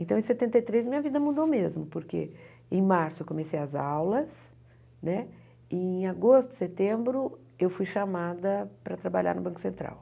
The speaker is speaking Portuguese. Então, em setenta e três, minha vida mudou mesmo, porque em março eu comecei as aulas né, e em agosto, setembro, eu fui chamada para trabalhar no Banco Central.